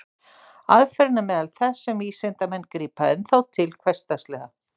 Aðferðin er meðal þess sem vísindamenn grípa enn þá til dagsdaglega.